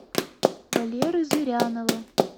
валеры зырянова